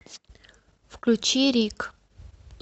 включи рик